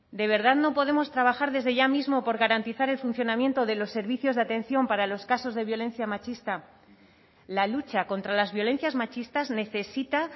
de verdad no podemos trabajar desde ya mismo por garantizar el funcionamiento de los servicios de atención para los casos de violencia machista la lucha contra las violencias machistas necesita